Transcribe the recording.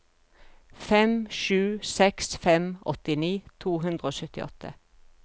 fem sju seks fem åttini to hundre og syttiåtte